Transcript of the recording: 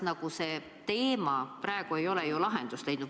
Aga see teema praegu ei ole ju lahendust leidnud.